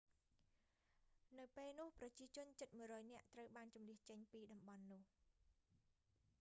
នៅពេលនោះ ប្រជាជនជិត 100 នាក់ត្រូវបានជម្លៀសចេញពីតំបន់នោះ